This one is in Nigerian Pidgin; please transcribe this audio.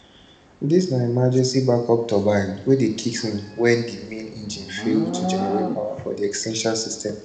dis na emergency backup turbine wey dey kicks in wen di main engines fail to generate power for essential systems